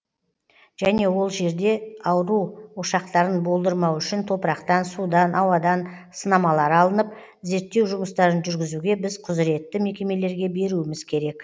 және ол жерде ауру ошақтарын болдырмау үшін топырақтан судан ауадан сынамалар алынып зерттеу жұмыстарын жүргізуге біз құзыретті мекемелерге беруіміз керек